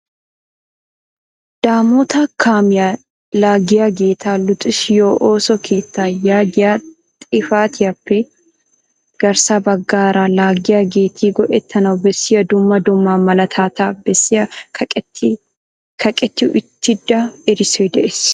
Daamota kaamiyaa laagiyaageeta luxissiyo oosso keettaa yaagiya xifatiyaappe garssa baggaara laagiyaageeti go"ettanaw bessiya dumma dumma malataata bessiya kaqetti uttida erissoy de'ees.